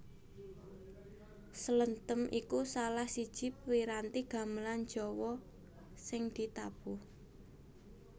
Slenthem iku salah siji piranti gamelan Jawa sing ditabuh